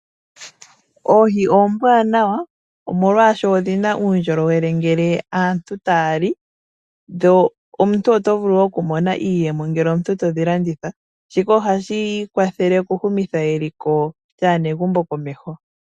Oohi oombwanawa molwaashoka odhi na uundjolowele uuna aantu ta ya li. Omuntu ota vulu okumona iiyemo ngele te dhi landitha, shika oha shi kwathele okuhumutha eliko lyaanegumbo komeho.